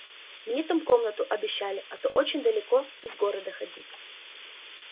мне там комнату обещали а то очень далеко из города ходить